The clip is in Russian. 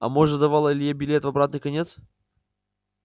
а может давала илье билет в обратный конец